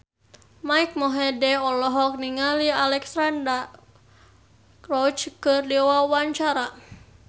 Mike Mohede olohok ningali Alexandra Roach keur diwawancara